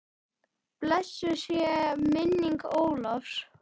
Blessuð sé minning Ólafs.